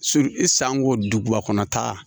e sanko duguba kɔnɔ tan